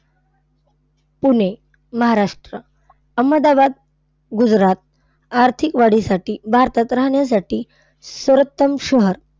पुणे, महाराष्ट्र. अहमदाबाद, गुजरात आर्थिक वाढीसाठी भारतात राहण्यासाठी सर्वोत्तम शहर,